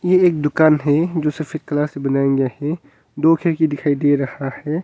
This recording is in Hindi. ये एक दुकान है जो सिर्फ एक कला से बनाये गया है दो खिड़की दिखाई दे रहा है।